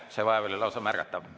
See vaev oli lausa märgatav.